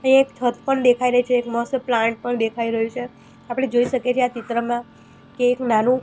અહીંયા એક છત પણ દેખાય રહી છે એક મસ્ત પ્લાન્ટ પણ દેખાય રહ્યું છે આપણે જોઈ શકીએ છીએ આ ચિત્રમાં કે એક નાનું --